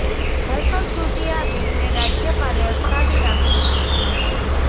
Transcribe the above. ગઈકાલ સુધી અા બિલને રાજ્યપાલે અટકાવી રાખ્યું હતું